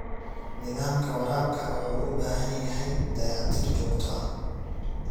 Nidaamka waraabka wuxuu u baahan yahay dayactir joogto ah.